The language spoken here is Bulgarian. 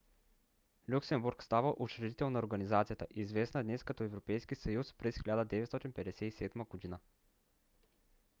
люксембург става учредител на организацията известна днес като европейски съюз през 1957 г